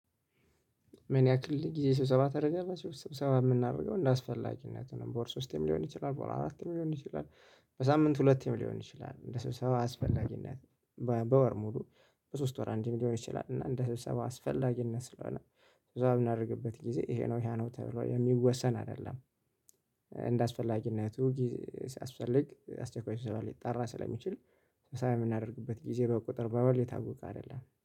ምን ያክል ጊዜ ስብሰባ ተደረገላችሁ ስብሰባ የምናደርገው እንደ አስፈላጊነቱ ነው በወር ሶስቴም ሊሆን ይችላል በወር አራቴም ሊሆን ይችላል። በሳምንት ሁለቴም ሊሆን ይችላል እንደ ስብሰባው አስፈላጊነት። በወር ሙሉ በሶስት ወር አንድም ሊሆን ይችላል እና እንደ ስብሰባ አስፈላጊነት ስለሆነ ስብሰባ የምናደርግበት ጊዜ ይሄ ነው ያ ነው ተብሎ የሚወሰን አይደለም። እንደአስፈላጊነቱ ሲያስፈልግ አስቸኳይ ስብሰባ ሊጠራ ስለሚችል። ስብሰባ የምናደርግበት ጊዜ በቁጥር በውል የታወቀ አይደለም